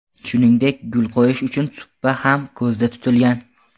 Shuningdek, gul qo‘yish uchun supa ham ko‘zda tutilgan.